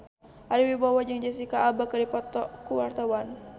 Ari Wibowo jeung Jesicca Alba keur dipoto ku wartawan